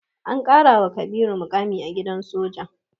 An ƙarawa Kabiru muƙami a gidan soja.